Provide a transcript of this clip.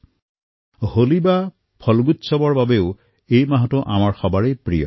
কিন্তু এই মাহৰ ফাকুৱাৰ উৎসৱ আমাৰ সকলোৰে অত্যন্ত প্ৰিয়